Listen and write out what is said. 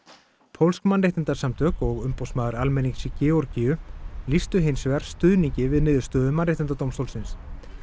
pólsk mannréttindasamtök og umboðsmaður almennings í Georgíu lýstu hins vegar stuðningi við niðurstöðu Mannréttindadómstólsins